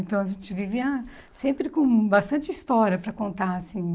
Então a gente vivia sempre com bastante história para contar, assim.